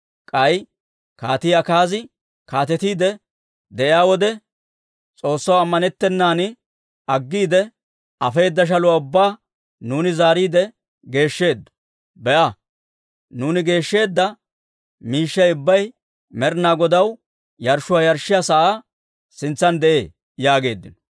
K'ay Kaatii Akaazi kaatetiide de'iyaa wode, S'oossaw ammanettennan aggiide, afeedda shaluwaa ubbaa nuuni zaariide geeshsheeddo. Be'a, nuuni geeshsheedda miishshay ubbay Med'inaa Godaw yarshshuwaa yarshshiyaa sa'aa sintsan de'ee» yaageeddino.